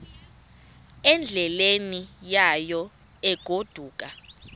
endleleni yayo egodukayo